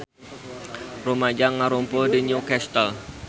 Rumaja ngarumpul di New Castle